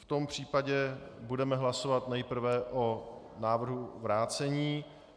V tom případě budeme hlasovat nejprve o návrhu vrácení.